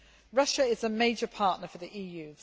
Russia is a major partner for the EU.